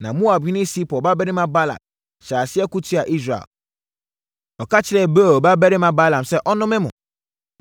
Na Moabhene Sipor babarima Balak hyɛɛ aseɛ ko tiaa Israel. Ɔka kyerɛɛ Beor babarima Balaam sɛ ɔnnome mo.